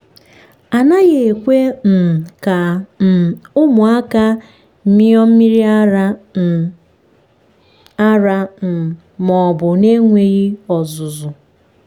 a naghị ekwe um ka um ụmụaka mịọ mmiri ara um ara um ma obu na-enweghị ọzụzụ.